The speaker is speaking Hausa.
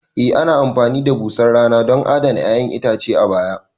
E ana amfani da busar rana don adana 'ya'yan itace a baya